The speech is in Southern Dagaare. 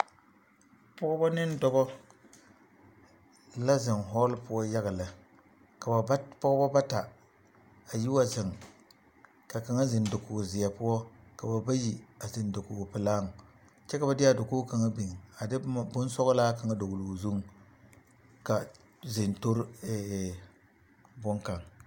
Pɔgeba neŋ dɔba la zeŋ hɔɔle poɔ yaga lɛ ka ba pɔgeba bata a yi wa zeŋ ka kaŋa zeŋ dakogizeɛ poɔ ka ba byi a zeŋ dakogipelaaŋ kyɛ ka ba de a dakogi kaŋa biŋ a de boma bonsɔglaa kaŋa a dɔgle o zuŋ ka zentori e e bonkaŋ.